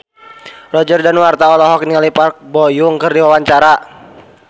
Roger Danuarta olohok ningali Park Bo Yung keur diwawancara